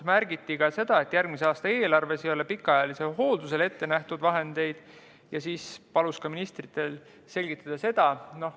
Märgiti ka seda, et järgmise aasta eelarves ei ole pikaajaliseks hoolduseks vahendeid ette nähtud ja paluti ministril seda selgitada.